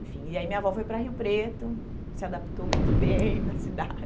Enfim, e aí minha avó foi para Rio Preto, se adaptou muito bem na cidade.